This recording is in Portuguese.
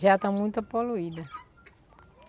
Já está muito poluída.